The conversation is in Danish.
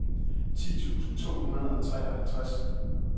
ti tusind to hundrede og treoghalvtreds